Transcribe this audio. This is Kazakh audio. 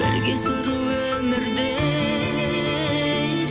бірге сүру өмірді